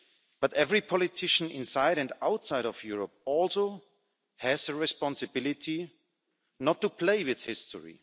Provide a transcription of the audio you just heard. But every politician, inside and outside of Europe, also has the responsibility not to play with history.